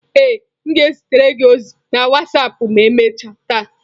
Ee, m ga-ezitere gị ozi na wasapụ ma emechaa taa.